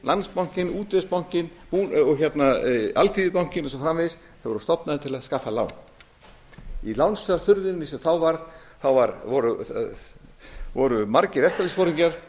stofnanir nákvæmlega eins og búnaðarbankinn landsbankinn útvegsbankinn alþýðubankinn og svo framvegis þeir voru stofnaðir til að skaffa lán í lánsfjárþurrðinni sem þá var voru margir verkalýðsforingjar